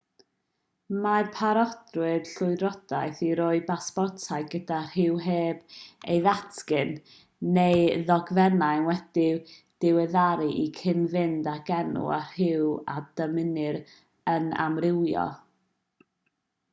mae parodrwydd llywodraethau i roi pasportau gyda rhyw heb ei ddatgan x neu ddogfennau wedi'u diweddaru i gyd-fynd ag enw a rhyw a ddymunir yn amrywio